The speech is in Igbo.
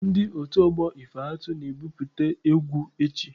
Ndị otu ọgbọ ife atụ na-ebupute egwu echi.